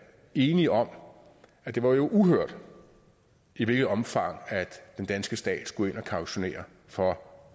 enige om at det var uhørt i hvilket omfang den danske stat skulle ind at kautionere for